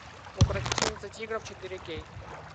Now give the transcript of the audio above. укротительница тигров четыре кей